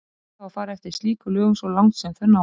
Ber þá að fara eftir slíkum lögum svo langt sem þau ná.